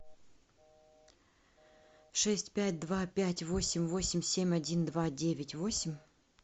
шесть пять два пять восемь восемь семь один два девять восемь